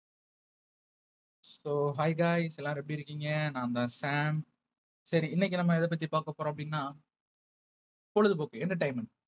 so hi guys எல்லாரும் எப்படி இருக்கீங்க நான்தான் சாம் சரி இன்னைக்கு நம்ம எதப்பத்தி பார்க்கப்போறோம் அப்படின்னா பொழுதுபோக்கு entertainment